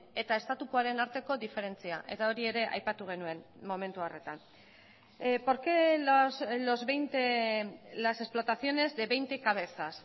eta estatukoaren arteko diferentzia eta hori ere aipatu genuen momentu horretan por qué los veinte las explotaciones de veinte cabezas